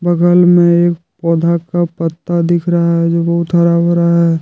बगल में एक पौधा का पत्ता दिख रहा है जो बहुत हरा भरा है।